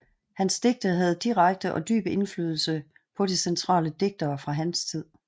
Hans digte havde direkte og dyb indflydelse på de centrale digtere fra hans tid